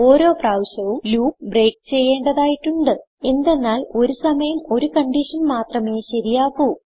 ഓരോ പ്രാവശ്യവും loop break ചെയ്യേണ്ടതായിട്ടുണ്ട് എന്തെന്നാൽ ഒരു സമയം ഒരു കൺഡിഷൻ മാത്രമേ ശരിയാകൂ